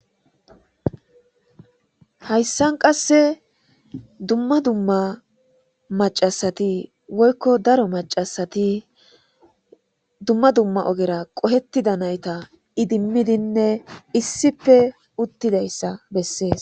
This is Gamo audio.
Hayssan qasse dumma dumma maccasatti woykko daaro maccasati dumma dumma oggera qohettida naytta iddimidine issippe uuttidayssa beses.